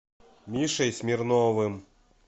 мишей смирновым